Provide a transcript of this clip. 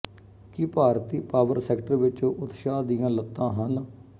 ਕੀ ਭਾਰਤੀ power sector ਵਿੱਚ ਉਤਸ਼ਾਹ ਦੀਆਂ ਲੱਤਾਂ ਹਨ